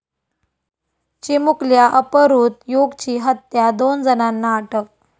चिमुकल्या अपहृत युगची हत्या, दोन जणांना अटक